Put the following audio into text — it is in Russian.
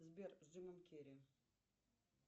сбер с джимом керри